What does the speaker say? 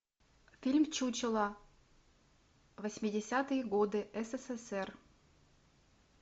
фильм чучело восьмидесятые годы ссср